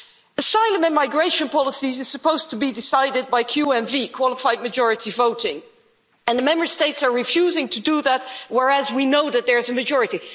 Asylum and migration policy is supposed to be decided by QMV, qualified majority voting, and the Member States are refusing to do that, whereas we know that there is a majority.